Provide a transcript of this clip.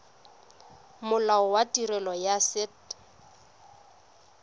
molao wa tirelo ya set